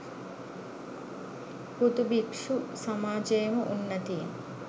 හුදු භික්‍ෂු සමාජයේම උන්නතීන්